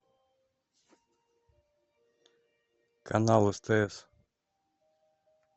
канал стс